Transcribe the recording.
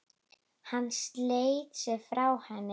Hann sleit sig frá henni.